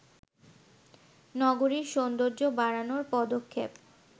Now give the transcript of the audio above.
নগরীর সৌন্দর্য বাড়ানোর পদক্ষেপ